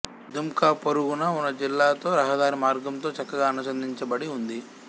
దుమ్కా పొరుగునా ఉన్న జిల్లాతో రహదారి మార్గంతో చక్కగా అనుసంధానించబడి ఉంది